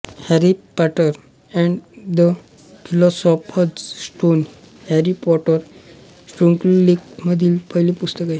Harry Potter and the philosopher's stone हे Harry Potter शृंखलेमधील पहिले पुस्तक आहे